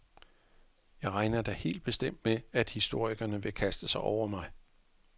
Jeg regner da helt bestemt med, at historikerne vil kaste sig over mig.